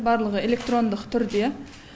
барлығы электрондық түрде